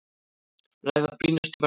Ræða brýnustu verkefnin